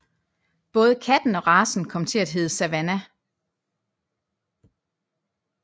Både katten og racen kom til at hedde Savannah